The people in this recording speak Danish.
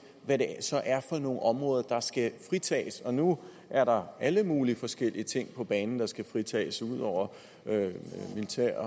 hvad det så er for nogle områder der skal fritages og nu er der alle mulige forskellige ting på banen der skal fritages udover militær